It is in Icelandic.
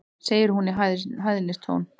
segir hún í hæðnistón.